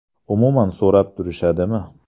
Umuman so‘rab turishadimi?